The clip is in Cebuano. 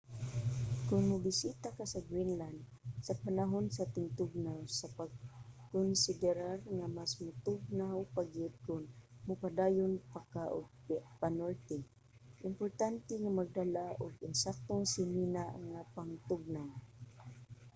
kon mobisita ka sa greenland sa panahon sa tingtugnaw sa pagkonsiderar nga mas motugnaw pa gyud kon mopadayon pa ka og panorte importante nga magdala og insaktong sinina nga pangtugnaw